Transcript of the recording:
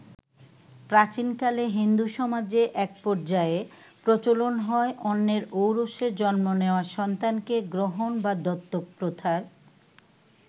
প্রাচীনকালে হিন্দু সমাজে এক পর্যায়ে প্রচলন হয় অন্যের ঔরসে জন্ম নেয়া সন্তানকে গ্রহণ বা দত্তক প্রথার।